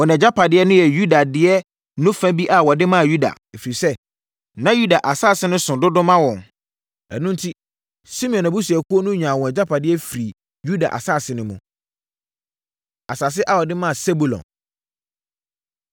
Wɔn agyapadeɛ no yɛ Yuda deɛ no fa bi a wɔde maa Yuda, ɛfiri sɛ, na Yuda asase no so dodo ma wɔn. Ɛno enti, Simeon abusuakuo no nyaa wɔn agyapadeɛ firii Yuda asase no mu. Asase A Wɔde Maa Sebulon